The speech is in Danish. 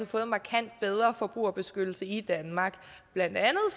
fået markant bedre forbrugerbeskyttelse i danmark blandt andet